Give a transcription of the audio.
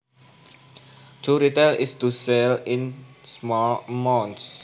To retail is to sell in small amounts